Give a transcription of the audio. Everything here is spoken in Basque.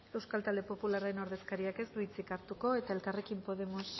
euskal talde popularraren ordezkariak ez du hitzik hartuko eta elkarrekin podemos